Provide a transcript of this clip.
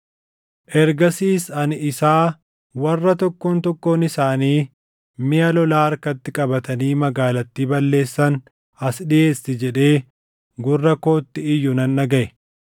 Ergasis ani isaa, “Warra tokkoon tokkoon isaanii miʼa lolaa harkatti qabatanii magaalattii balleessan as dhiʼeessi” jedhee gurra kootti iyyu nan dhagaʼe.